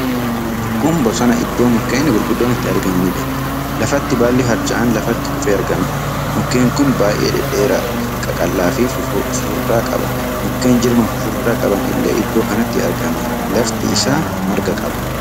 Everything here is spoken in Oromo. Kun bosona iddoo mukkeen gurguddoon itti argamaniidha. Lafatti baalli harca'aan lafatti kufee argama. Mukkeen kun baay'ee dhedheeraa qaqal'aa fi fufurdaa qaba. Mukkeen jirma fufurdaa qaban illee iddoo kanatti argama. Lafti isaa marga qaba.